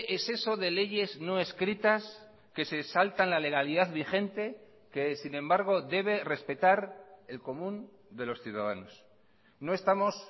es eso de leyes no escritas que se saltan la legalidad vigente que sin embargo debe respetar el común de los ciudadanos no estamos